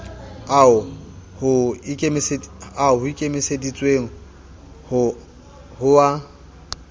ao ho ikemiseditsweng ho a